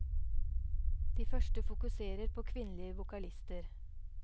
De første fokuserer på kvinnelige vokalister.